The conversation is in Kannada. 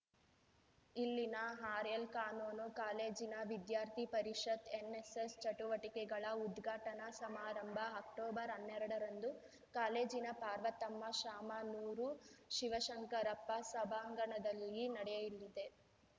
ಇಲ್ಲಿನ ಆರ್‌ಎಲ್‌ಕಾನೂನು ಕಾಲೇಜಿನ ವಿದ್ಯಾರ್ಥಿ ಪರಿಷತ್‌ ಎನ್ನೆಸ್ಸೆಸ್‌ ಚಟುವಟಿಕೆಗಳ ಉದ್ಘಾಟನಾ ಸಮಾರಂಭ ಅಕ್ಟೊಬರ್ಹನ್ನೆರಡರಂದು ಕಾಲೇಜಿನ ಪಾರ್ವತಮ್ಮ ಶಾಮ ನೂರು ಶಿವಶಂಕರಪ್ಪ ಸಭಾಂಗಣದಲ್ಲಿ ನಡೆಯಲಿದೆ